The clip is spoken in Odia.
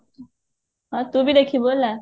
ହଁ ତୁ ବି ଦେଖିବୁ ହେଲା